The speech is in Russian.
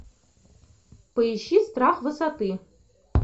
поищи страх высоты